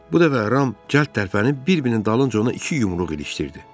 Bu dəfə Ram cəld tərpənib bir-birinin dalınca ona iki yumruq ilişdirdi.